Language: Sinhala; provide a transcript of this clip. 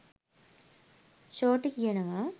ෂෝටි කියනවා